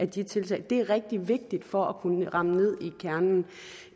de tiltag det er rigtig vigtigt for at kunne ramme ned i kernen